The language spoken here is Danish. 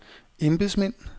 embedsmænd